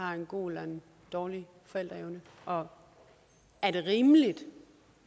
har en god eller dårlig forældreevne og er det rimeligt